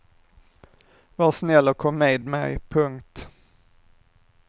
Var snäll och kom med mig. punkt